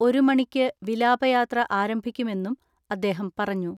ഒരു മണിക്ക് വിലാപയാത്ര ആരംഭിക്കുമെന്നും അദ്ദേഹം പറഞ്ഞു.